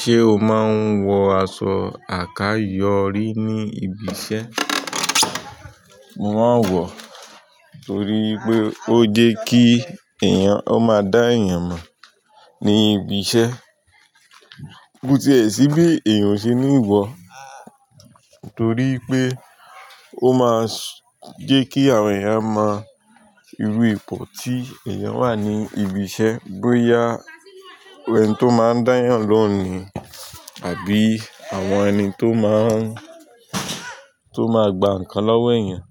Ṣé o máa ń wọ aṣọ àkayòrí ní ibi iṣẹ́? Mo máa ń wọ torí pé ó jẹ́ kí èèyàn, ó máa dá èèyàn mọ̀ ní ibi iṣẹ́. Ó ti ẹ̀ sí bí èèyàn ṣe ńi wọ, torí pé ó máa ń jẹ́ kí àwọn èèyàn mọ irú ipò tí èèyàn wà ní ibi iṣẹ́. Bóyá irú ẹni tó máa ń dáyàn lóún ní àbí àwọn ẹni tó máa ń, tó máa gba nǹkan lọ́wọ́ èèyàn